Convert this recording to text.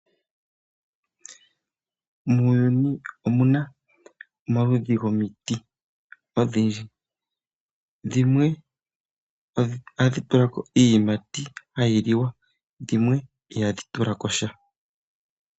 Muuyuni omuna omaludhi gomiti odhindji. Dhimwe ohadhi tula ko iiyimati hayi liwa. Dhimwe ihadhi tula ko sha.